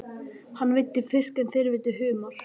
Hann veiddi fisk en þau veiddu humar.